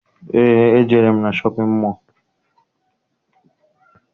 Eé, ejere m na shọpịn mọọ